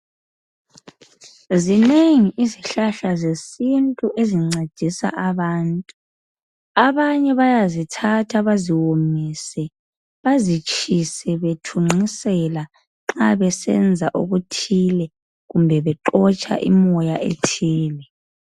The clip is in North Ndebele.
Zinengi izihlahla zesintu ezincedisa abantu. Abanye bayazithatha baziwomise, bazitshise bethunqisela..Nxa besenza okuthile, kumbe bexotsha, moya ethile.